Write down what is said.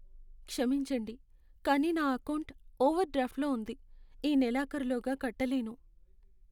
క్షమించండి, కానీ నా ఎకౌంటు ఓవర్డ్రాఫ్ట్లో ఉంది, ఈ నెలాఖరులోగా కట్టలేను.